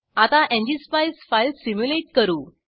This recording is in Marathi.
आता एनजीएसपाईस फाईल सिम्युलेट करू